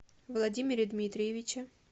владимире дмитриевиче